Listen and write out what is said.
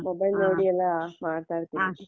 ಹ mobile ನೋಡಿ ಎಲ್ಲ ಮಾಡ್ತಾ ಇರ್ತಿನಿ.